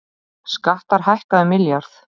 Skattar hækka um milljarð